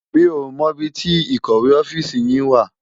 Mi ó mò ibi ti ikòwé òfisi yin wá